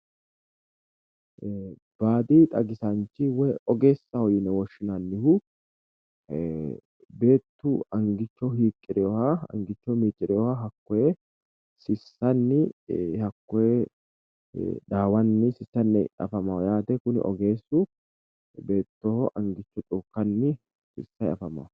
Baadi xagisanchi woyi ogeessaho yine woshshinayihu, beettu angicho hiiqirewoha angicho miicirewoha hakkoye sissanni dhaawanni afamanno kuni ogeessu dhaawanni afamanno.